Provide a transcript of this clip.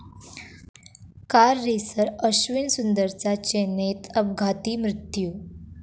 car racer Ashwin सुंदरचा चेन्नईत अपघाती मृत्यू